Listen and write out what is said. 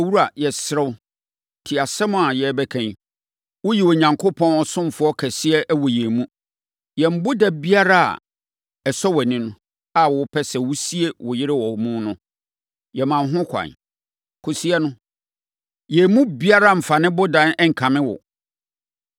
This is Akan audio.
“Owura, yɛsrɛ wo, tie asɛm a yɛrebɛka yi. Woyɛ Onyankopɔn ɔsomfoɔ kɛseɛ wɔ yɛn mu. Yɛn boda biara a ɛsɔ wʼani a wopɛ sɛ wosie wo yere wɔ hɔ no, yɛma wo ho kwan, kɔsie no. Yɛn mu biara remfa ne boda nkame wo.”